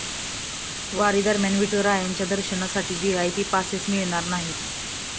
वारीदरम्यान विठुरायांच्या दर्शनासाठी VIP passes मिळणार नाहीत!